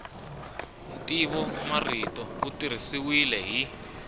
ntivomarito wu tirhisiwile hi